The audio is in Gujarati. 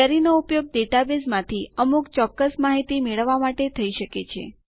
ક્વેરીનો ઉપયોગ ડેટાબેઝમાંથી અમુક ચોક્કસ માહિતી મેળવવા માટે થઇ શકે છે